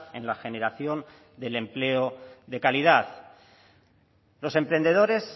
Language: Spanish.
en la generación del empleo de calidad los emprendedores